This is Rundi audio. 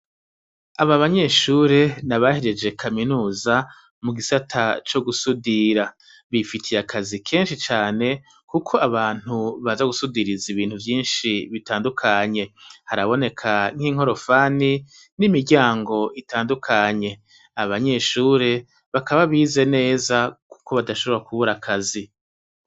Aba banyeshure ni abahejeje kaminuza mu gisata co gusudira. Bifitiye akazi kenshi cane kuko abantu baza gusudiriza ibintu vyinshi bitandukanye, haraboneka n'inkorofani n'imiryango itandukanye aba banyeshure bakaba bize neza kuko badashobora kubura akazi.